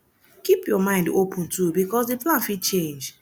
keep your mind open too because di plan fit change